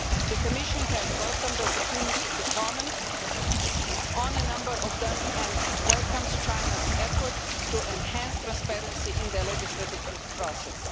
The Commission has welcomed the opportunity to comment on a number of them and welcomes China's efforts to enhance transparency in the legislative process.